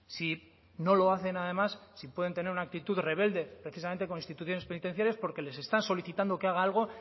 si no lo hacen además si pueden tener una actitud rebelde precisamente con instituciones penitenciarias porque les están solicitando que haga algo